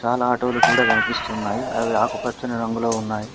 చాలా ఆటో లు కూడా కనిపిస్తున్నాయి అవి ఆకుపచ్చని రంగులో ఉన్నాయి